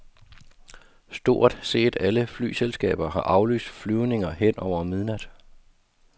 Stort set alle flyselskaber har aflyst flyvninger hen over midnat.